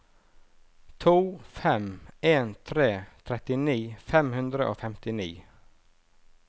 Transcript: to fem en tre trettini fem hundre og femtini